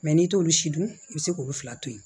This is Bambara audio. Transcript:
n'i t'olu si dun i bɛ se k'olu fila to yen